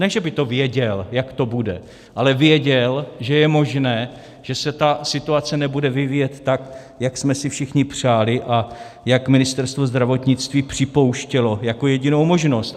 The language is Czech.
Ne že by to věděl, jak to bude, ale věděl, že je možné, že se ta situace nebude vyvíjet tak, jak jsme si všichni přáli a jak Ministerstvo zdravotnictví připouštělo jako jedinou možnost.